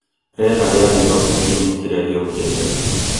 rĩera rĩa Nairobi kiumia kĩrĩa gĩũkĩte